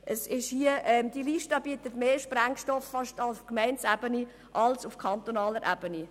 Diese Liste liefert mehr Sprengstoff auf kommunaler als auf kantonaler Ebene.